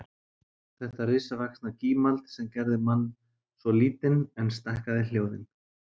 Þetta risavaxna gímald sem gerði mann svo lítinn en stækkaði hljóðin